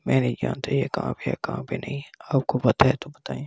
मैं नहीं जानता ये कहां पे है कहां पे नहीं है आपको पता है तो बताएं--